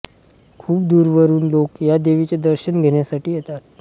खूप दूरवरून लोक या देवीचे दर्शन घेण्यासाठी येतात